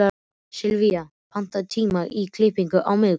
Sylvía, pantaðu tíma í klippingu á miðvikudaginn.